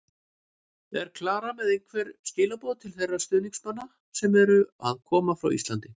En er Klara með einhver skilaboð til þeirra stuðningsmanna sem eru að koma frá Íslandi?